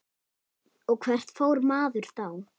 Og hvert fór maður þá?